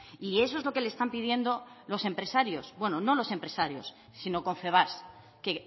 y eso es lo que le están pidiendo los empresarios bueno no los empresarios sino confebask que